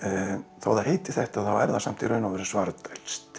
þó það heiti þetta þá er það samt í raun og veru